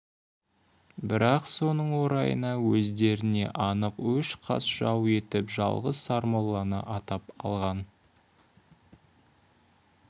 бірақ соның орайына өздеріне анық өш қас жау етіп жалғыз сармолланы атап алған